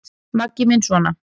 Maggi minn sona!